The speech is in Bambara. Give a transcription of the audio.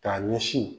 K'a ɲɛsin